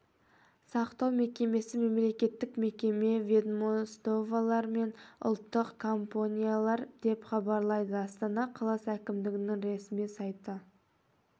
сақтау мекемесі мемлекеттік мекеме ведомстволар мен ұлттық компаниялар деп хабарлайды астана қаласы әкімдігінің ресми сайты